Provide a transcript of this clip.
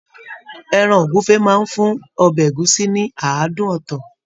Ẹran ogúnfe máa n fún ọbẹ ẹ̀gúsí ní àádùn ọtọ.